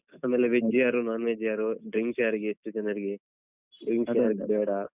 Veg ಯಾರು non veg ಯಾರು drinks ಯಾರಿಗೆ ಯೆಸ್ಟ್ ಜನರಿಗೆ drinks ಯಾರಿಗ್ ಬೇಡ.